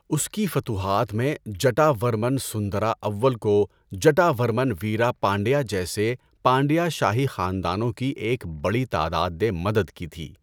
اس کی فتوحات میں، جٹا ورمن سندرا اول کو جٹا ورمن ویرا پانڈیا جیسے پانڈیا شاہی خاندانوں کی ایک بڑی تعداد نے مدد کی تھی۔